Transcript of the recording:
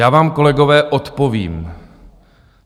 Já vám, kolegové, odpovím.